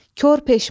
Kor peşman.